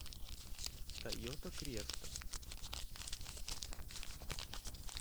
тойота креста